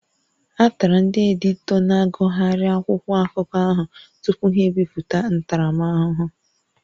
A tara ndị editọ na-agụgharịghị akwụkwọ akụkọ ahụ tupu ha ebipụta ntaramahụhụ